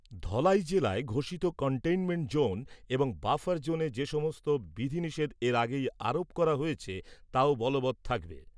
ধলাই জেলায় ঘোষিত containment zone এবং বাফার জোনে যেসব বিধিনিষেধ এর আগেই আরোপ করা হয়েছে তাও বলবৎ থাকবে ।